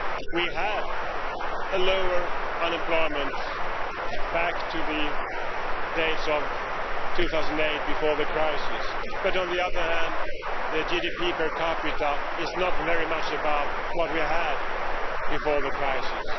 We have lower unemployment than back in the days of 2008 before the crisis, but on the other hand, the GDP per capita is not very much above what we had before the crisis.